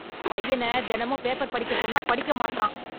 பையன தெனமும் பேப்பர் படிக்க சொன்னா படிக்க மாட்றான்